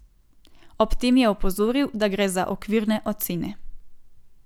Ob tem je opozoril, da gre za okvirne ocene.